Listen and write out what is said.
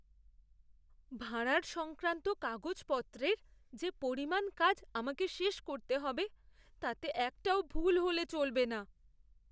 ভাঁড়ার সংক্রান্ত কাগজপত্রের যে পরিমাণ কাজ আমাকে শেষ করতে হবে, তাতে একটাও ভুল হলে চলবে না।